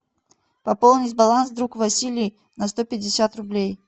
пополнить баланс друг василий на сто пятьдесят рублей